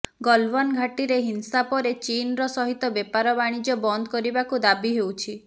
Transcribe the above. ଗଲଓ୍ୱାନ୍ ଘାଟିରେ ହିଂସା ପରେ ଚୀନ୍ର ସହିତ ବେପାର ବାଣିଜ୍ୟ ବନ୍ଦ କରିବାକୁ ଦାବି ହେଉଛି